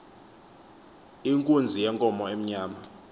inkunzi yenkomo emnyama